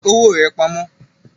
Fi owó rà pamó